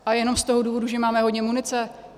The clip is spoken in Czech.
Ale jenom z toho důvodu, že máme hodně munice?